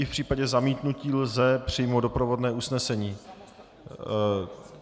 I v případě zamítnutí lze přijmout doprovodné usnesení.